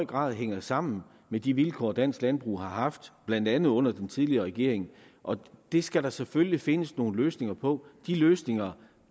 grad hænger sammen med de vilkår dansk landbrug har haft blandt andet under den tidligere regering og det skal der selvfølgelig findes nogle løsninger på de løsninger